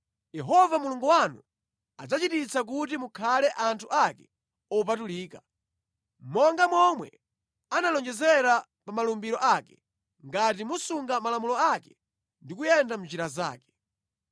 Yehova Mulungu wanu adzachititsa kuti mukhale anthu ake opatulika, monga momwe analonjezera pa malumbiro ake, ngati musunga malamulo ake ndi kuyenda mʼnjira zake.